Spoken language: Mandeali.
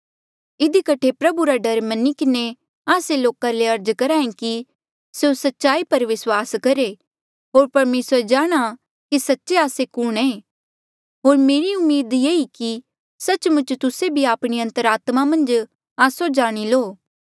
इधी कठे प्रभु रा डर मनी किन्हें आस्से लोका ले अर्ज करहा ऐें कि स्यों सच्चाई पर विस्वास करहे होर परमेसरा जाणहां कि सच्चे आस्से कुणहें होर मेरी उम्मीद ये ई कि सच्च मुच तुस्से भी आपणी अन्तरात्मा मन्झ आस्सो जाणी लो